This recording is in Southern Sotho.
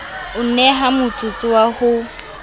o neha motsotso wa ho